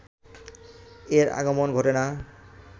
এর আগমন ঘটে না